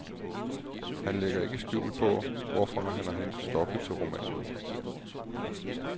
Han lægger ikke skjul på, hvorfra han har hentet stoffet til romanen.